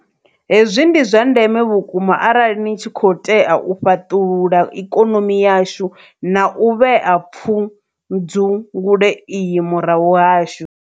Hezwi ndi zwa ndeme vhu kuma arali ni tshi khou tea u fhaṱulula ikonomi yashu na u vhea pfudzungule iyi murahu hashu.